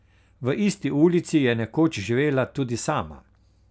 V isti ulici je nekoč živela tudi sama.